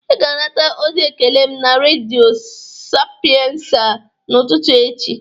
Ị ga-anata ozi ekele m na Redio Sapiensa n'ụtụtụ echi.